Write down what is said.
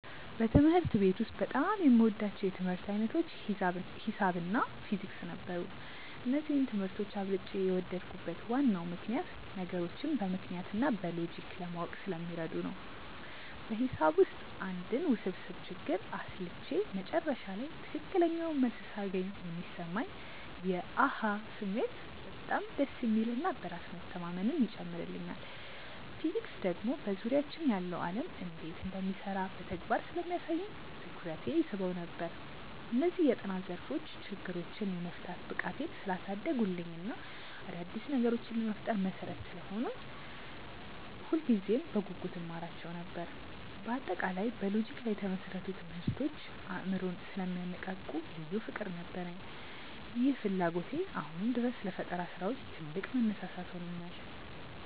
በትምህርት ቤት ውስጥ በጣም የምወዳቸው የትምህርት ዓይነቶች ሒሳብ እና ፊዚክስ ነበሩ። እነዚህን ትምህርቶች አብልጬ የወደድኩበት ዋናው ምክንያት ነገሮችን በምክንያት እና በሎጂክ ለማወቅ ስለሚረዱ ነው። በሒሳብ ውስጥ አንድን ውስብስብ ችግር አስልቼ መጨረሻ ላይ ትክክለኛውን መልስ ሳገኝ የሚሰማኝ የ "አሃ" ስሜት በጣም ደስ የሚል እና በራስ መተማመንን ይጨምርልኛል። ፊዚክስ ደግሞ በዙሪያችን ያለው ዓለም እንዴት እንደሚሰራ በተግባር ስለሚያሳየኝ ትኩረቴን ይስበው ነበር። እነዚህ የጥናት ዘርፎች ችግሮችን የመፍታት ብቃቴን ስላሳደጉልኝ እና አዳዲስ ነገሮችን ለመፍጠር መሠረት ስለሆኑኝ ሁልጊዜም በጉጉት እማራቸው ነበር። በአጠቃላይ በሎጂክ ላይ የተመሰረቱ ትምህርቶች አእምሮን ስለሚያነቃቁ ልዩ ፍቅር ነበረኝ። ይህ ፍላጎቴ አሁንም ድረስ ለፈጠራ ስራዎች ትልቅ መነሳሳት ሆኖኛል።